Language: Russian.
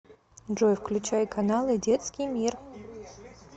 джой включай каналы детский мир